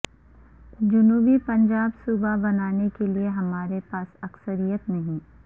جنوبی پنجاب صوبہ بنانے کیلئے ہمارے پاس اکثریت نہیں